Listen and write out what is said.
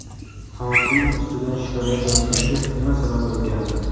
Hokim ustidan shikoyat yozilishiga nima sabab bo‘lgandi?.